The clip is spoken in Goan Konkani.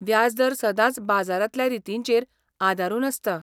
व्याजदर सदांच बाजारांतल्या रितींचेर आदारून आसता.